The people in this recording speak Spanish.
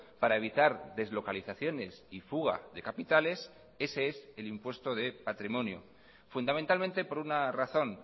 para evitar deslocalizaciones y fuga de capitales ese es el impuesto de patrimonio fundamentalmente por una razón